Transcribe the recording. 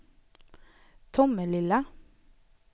Tomelilla